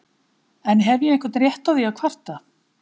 En hef ég einhvern rétt á því að kvarta?